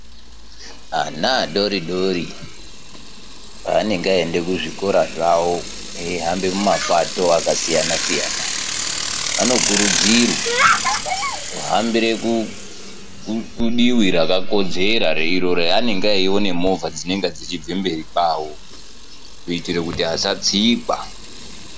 Ana adori dori paanenge aenda kuzvikora zvao eihamba mumapato akasiyana siyana anokurudzirwa kuhambire kudivi rakakodzera iro raanenge eiona movha dzinenge dzichibve mberi kwao kuitire kuti asatsikwa.